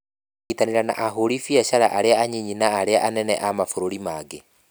Kũnyitanĩra na ahũri biacara arĩa anyinyi na arĩa anene a mabũrũri mangĩ.